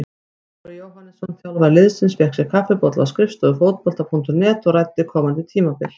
Ólafur Jóhannesson, þjálfari liðsins, fékk sér kaffibolla á skrifstofu Fótbolta.net og ræddi komandi tímabil.